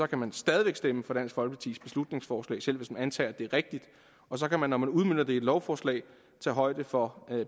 kan man stadig væk stemme for dansk folkepartis beslutningsforslag selv hvis man antager at det er rigtigt og så kan man når man udmønter det i et lovforslag tage højde for